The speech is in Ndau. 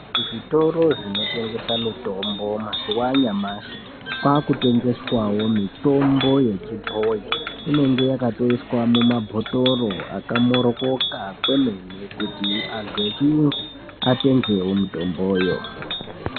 Zvitoro zvinotengesa mitombo mazuva anyamashi kwakutengeswawo mitombo yechibhoyi inenge yakatoiswa mumabhotoro akaba mhoryoka kuitire kuti antu echiyungu atengewo mitomboyo.